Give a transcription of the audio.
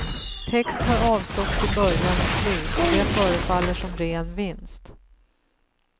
Text har avståtts i början och slut, och det förefaller som ren vinst.